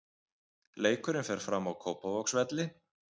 Leikurinn fer fram á Kópavogsvelli.